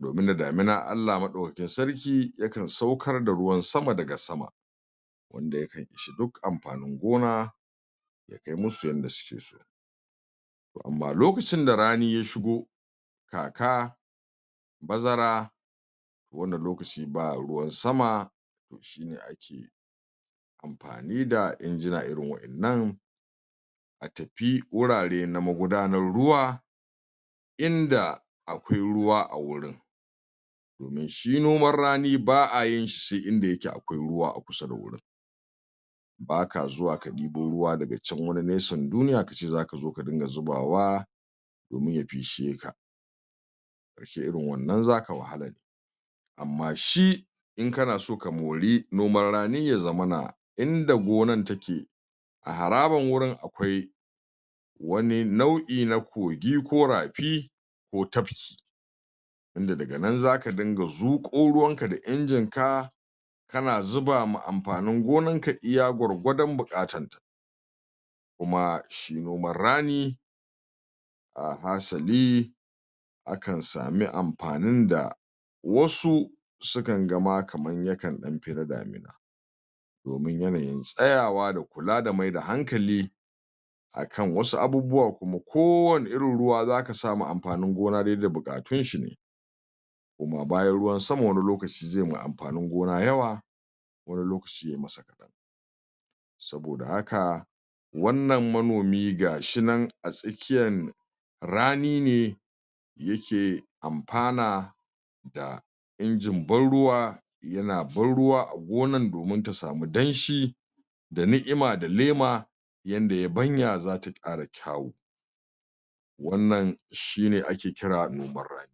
domin da damina Allah maɗaukin sarki yakan saukar da ruwan sama daga sama wanda yakan ishi duk ampanin gona, ya kai musu yadda yakeso toh amma lokacin da rani ya shigo, kaka, bazara wanda lokaci ba ruwan sama toh shine ake ampani da injina irin wa'innan a tapi wurare na magudanar ruwa inda akwai ruwa a wurin domin shi noman rani ba'a yin shi inda ya ke akwai ruwa a kusa da wurin ba ka zuwa ka ɗibo ruwa daga can wani nesan duniya ka ce zaka zo ka dinga zubawa domin ya pisheka irin wannan zaka wahala ne amma shi, in kana so ka mori noman rani ya zammana inda gonan ta ke a harabin wurin akwai wani nau'i na kogi, ko rapi, ko tapki inda daga nan zaka dinga zuƙo ruwan ka da injin ka ka na zubama ampanin gonan ka iya gwargwadon buƙattan ta kuma shi noman rani a hasali akan sami ampanin da wasu, sukan ga ma kaman ya kan ɗan pi na damina domin yanayin tsayawa da kula da mai da hankali akan wasu abubuwa kuma ko wani irin ruwa zaka sa ma ampanin gona dai da buƙattun shi ne kuma bayan ruwan sama wani lokaci zai wa ampanin gona yawa, wani lokaci ya yi masa kaɗan saboda haka wannan manomi gashi nan a tsakiyan rani ne ya ke ampana da injin ban ruwa yana ban ruwa a gonan domin ta samu danshi da ni'ima da laima yanda ya banya zata ƙara kyau wannan shi ne ake kira noman rani.